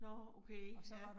Nåh okay ja